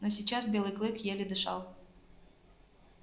но сейчас белый клык еле дышал